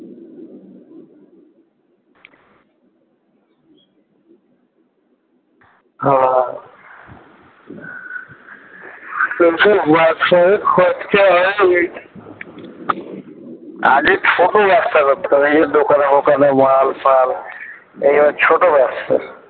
হ্যাঁ খরচা হয়ে গেছে আগে ছোট ব্যবসা করতাম এই যে দোকানে দোকানে মাল ফাল এই সব ছোট ব্যবসা